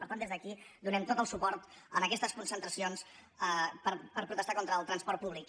per tant des d’aquí donem tot el suport a aquestes concentracions per protestar contra el transport públic